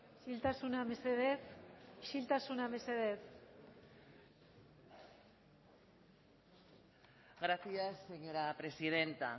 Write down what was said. isiltasuna mesedez isiltasuna mesedez gracias señora presidenta